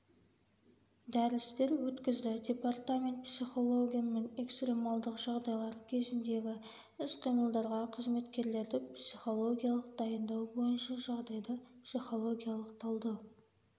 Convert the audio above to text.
дәрістер өткізді департамент психологымен экстремалдық жағдайдар кезіндегі іс-қимылдарға қызметкерлерді психологиялық дайындау бойынша жағдайды психологиялық талдау